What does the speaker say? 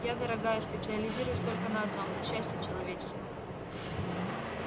я дорогая специализируюсь только на одном на счастье человеческом